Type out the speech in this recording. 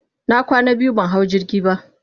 na kwana biyu ban hau jirgi ba.